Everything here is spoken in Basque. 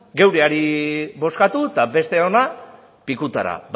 geureari bozkatu eta besteona pikutara